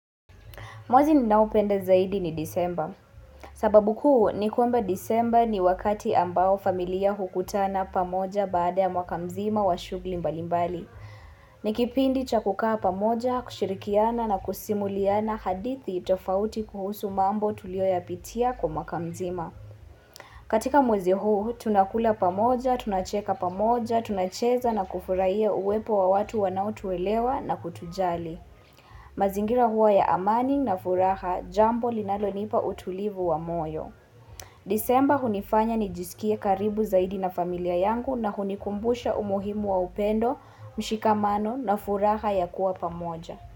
Mwazi ni nao pende zaidi ni disemba. Sababu kuu ni kwamba disemba ni wakati ambao familia hukutana pamoja baada ya mwakamzima wa shugli mbalimbali. Ni kipindi cha kukaa pamoja, kushirikiana na kusimuliana hadithi itofauti kuhusu mambo tulio ya pitia kwa mwakamzima. Katika mwazi huu, tunakula pamoja, tunacheka pamoja, tunacheza na kufuraiye uwepo wa watu wanautuwelewa na kutujali. Mazingira huwa ya amani na furaha jambo linalonipa utulivu wa moyo. Disemba hunifanya nijisikia karibu zaidi na familia yangu na hunikumbusha umuhimu wa upendo, mshikamano na furaha ya kuwa pamoja.